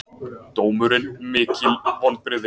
Dómurinn mikil vonbrigði